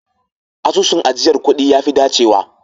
Asusun ajiyar kuɗi ya fi dacewa